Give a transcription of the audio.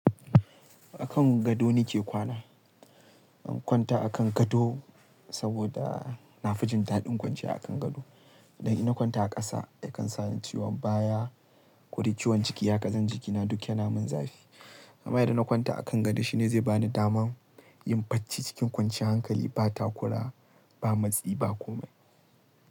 A kan gado nake kwana. Na kwanta a kan gado saboda na fijin daɗin kwanciya a kan gado. Idan ina kwanta a ƙasa yakan sa ni ciwon baya, kodai ciwon ciki ha kazan jikina duk yana min zafi. Amma idan na kwanta a kan gado shine zai bani daman yin bacci cikin kwanciyar hankali ba takura, ba matsi ba komai.